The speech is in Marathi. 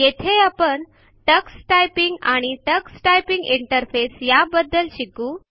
येथे आपण टक्स टायपिंग आणि टक्स टायपिंग इंटरफेस या बद्दल शिकू